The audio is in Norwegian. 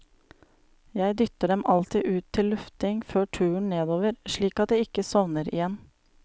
Jeg dytter dem alltid ut til lufting før turen nedover, slik at de ikke sovner igjen.